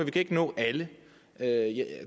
kan ikke nå alle